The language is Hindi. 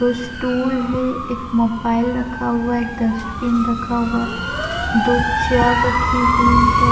दो स्टूल है एक मोबाइल रखा हुआ है एक डस्टबिन रखा हुआ है दो चेयर रखी हुई है।